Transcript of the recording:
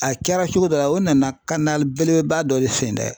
A kɛra cogo dɔ la o nana belebeleba dɔ sen dɛ .